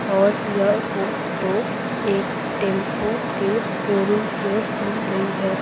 और यह फोटो एक टेंपो के शोरूम में ली गई है।